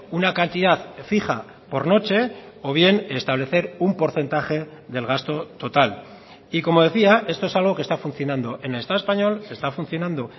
una cantidad fija por noche o bien establecer un porcentaje del gasto total y como decía esto es algo que está funcionando en el estado español está funcionando